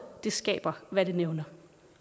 skaber hvad det nævner